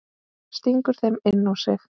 Stingur þeim inn á sig.